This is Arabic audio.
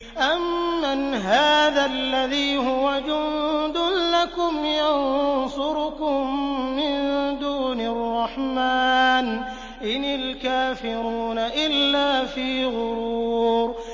أَمَّنْ هَٰذَا الَّذِي هُوَ جُندٌ لَّكُمْ يَنصُرُكُم مِّن دُونِ الرَّحْمَٰنِ ۚ إِنِ الْكَافِرُونَ إِلَّا فِي غُرُورٍ